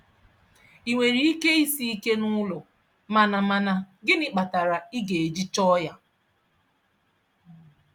I nwere ike isi ike n'ụlọ mana mana gịnị kpatara ị ga-eji chọọ ya?